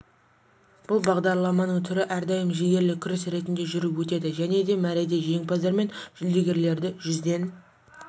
бұл бағдарламаның түрі әрдайым жігерлі күрес ретінде жүріп өтеді және де мәреде жеңімпаздар мен жүлдегерлерді жүзден